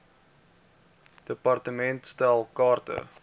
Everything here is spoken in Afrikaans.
department stel kaarte